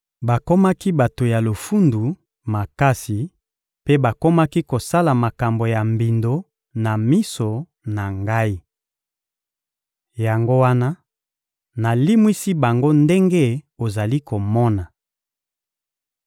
Bakomaki bato ya lofundu makasi mpe bakomaki kosala makambo ya mbindo na miso na Ngai. Yango wana, nalimwisi bango ndenge ozali komona.